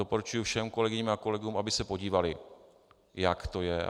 Doporučuji všem kolegyním a kolegům, aby se podívali, jak to je.